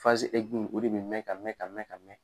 o de be mɛ ka mɛ ka mɛ ka mɛ